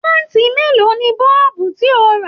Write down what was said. Waati mélòó ní bọ́ọ̀bu ti o ra?